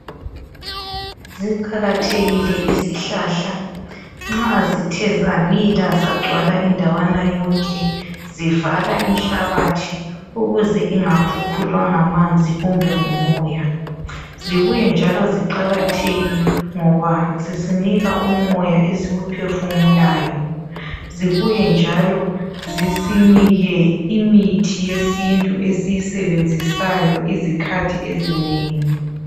Ziqakathekile izihlahla nxa zithe zamila zagcwala indawana yonke zivala inhlabathi ukuze ingakhukhulwa ngamanzi kumbe ngumoya. Zibuye njalo ziqakatheke ngoba zisinika umoya esiwuphefumulayo. Zibuye njalo zisinike imithi yesintu esiyisebenzisayo izikhathi ezinengi.